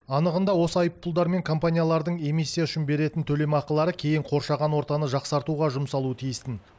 анығында осы айыппұлдар мен компаниялардың эмиссия үшін беретін төлемақылары кейін қоршаған ортаны жақсартуға жұмсалуы тиістін